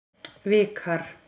Vikar